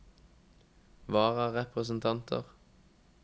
vararepresentanter